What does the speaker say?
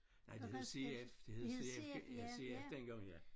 Nej det hed CF det hed CF ja CF dengang ja